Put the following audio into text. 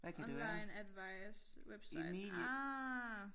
Online advice website ah